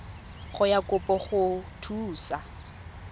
ya kopo go go thusa